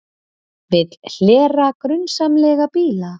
Vill hlera grunsamlega bíla